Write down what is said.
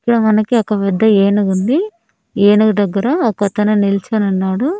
ఇక్కడ మనకి ఒక పెద్ద ఏనుగుంది ఏనుగు దగ్గర ఒకతను నిల్చొని ఉన్నాడు.